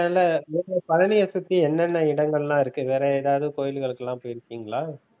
அதனால பழனியை சுத்தி என்னென்ன இடங்கள்லாம் இருக்கு வேற ஏதாவது கோயில்களுக்குலாம் போய்யிருக்கீங்களா?